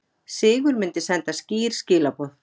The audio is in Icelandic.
Sigur myndi senda skýr skilaboð